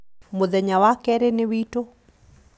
mũthenya wa keerĩ nĩ witu